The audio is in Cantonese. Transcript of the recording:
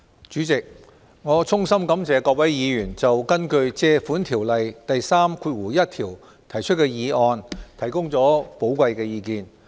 主席，我衷心感謝各位議員就根據《借款條例》第31條提出的擬議決議案，提供寶貴的意見。